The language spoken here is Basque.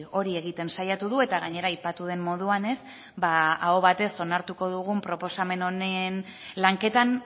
hori egiten saiatu du eta gainera aipatu den moduan aho batez onartuko dugun proposamen honen lanketan